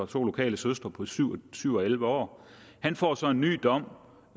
to lokale søstre på syv syv og elleve år han får så en ny dom